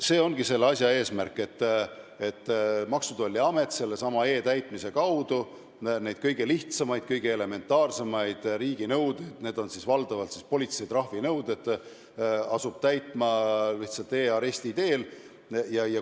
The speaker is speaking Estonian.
See ongi selle asja eesmärk, et Maksu- ja Tolliamet asub sellesama e-täitmise kaudu kõige lihtsamaid, kõige elementaarsemaid riiginõudeid – need on valdavalt politsei trahvinõuded – täitma e-aresti teel.